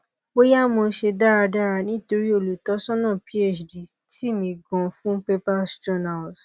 bóyá mo ṣe dáradára nítorí olùtọ́sọ́nà phd tì mí gan fún papers journals